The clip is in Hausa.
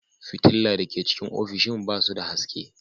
Fitilla da ke cikin ofishin ba su da haske.